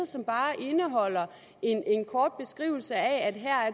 som bare indeholder en kort beskrivelse af at her er